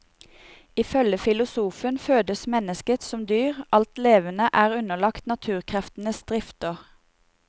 Ifølge filosofen fødes mennesket som dyr, alt levende er underlagt naturkreftenes drifter.